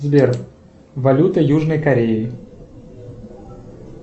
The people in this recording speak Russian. сбер валюта южной кореи